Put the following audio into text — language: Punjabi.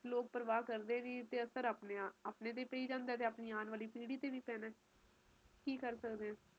ਦੁਖੀ ਐ ਤੇ ਆਨੇ ਵਾਲਾ ਸਮਾਂ ਕਿ ਹੋਊਗਾ ਇਹ ਚੀਜ਼ ਬਹੁਤ ਬਹੁਤ ਸਮਝਣੀ ਜ਼ਰੂਰੀ ਐ ਸਮਜਲੋ ਆਪ ਉਹ ਪੀੜੀ ਆ ਜਿਹਨੇ ਸਾਰਾ ਕੁਸ਼ ਦੇਖਿਆ ਹੈ